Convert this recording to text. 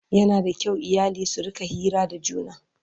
Yana da kyau iyali su rinƙa Hira da juna